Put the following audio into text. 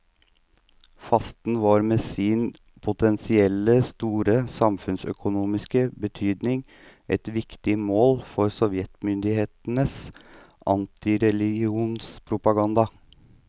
Fasten var med sin potensielt store samfunnsøkonomiske betydning et viktig mål for sovjetmyndighetenes antireligionspropaganda.